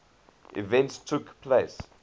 events took place